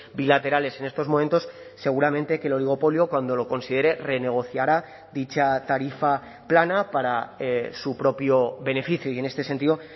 bilaterales en estos momentos seguramente que el oligopolio cuando lo considere renegociará dicha tarifa plana para su propio beneficio y en este sentido